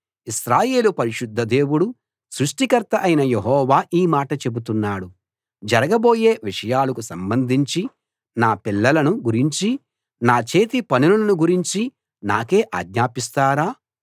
ఇశ్రాయేలు పరిశుద్ధ దేవుడు సృష్టికర్త అయిన యెహోవా ఈ మాట చెబుతున్నాడు జరగబోయే విషయాలకు సంబంధించి నా పిల్లలను గురించీ నా చేతి పనులను గురించీ నాకే ఆజ్ఞాపిస్తారా